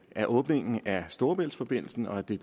af åbningen af storebæltsforbindelsen og det